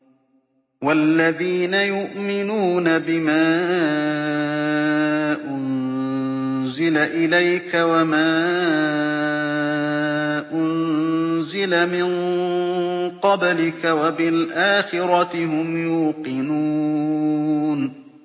وَالَّذِينَ يُؤْمِنُونَ بِمَا أُنزِلَ إِلَيْكَ وَمَا أُنزِلَ مِن قَبْلِكَ وَبِالْآخِرَةِ هُمْ يُوقِنُونَ